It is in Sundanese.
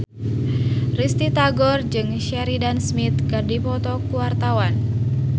Risty Tagor jeung Sheridan Smith keur dipoto ku wartawan